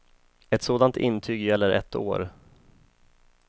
Ett sådant intyg gäller ett år.